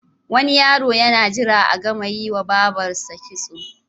Wani yaro yana jira a gama yiwa babarsa kitso.